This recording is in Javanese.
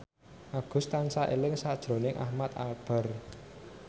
Agus tansah eling sakjroning Ahmad Albar